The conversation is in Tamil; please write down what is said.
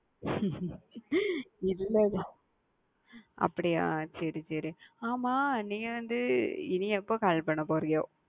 இல்ல இல்ல அப்படியா அஹ் சரி சரி ஆமா நீ வந்து இனி எப்ப call பண்ண போறியோ